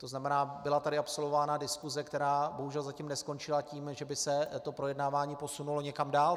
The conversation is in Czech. To znamená, byla tady absolvována diskuse, která bohužel zatím neskončila tím, že by se to projednávání posunulo někam dál.